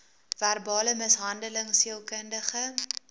verbale mishandeling sielkundige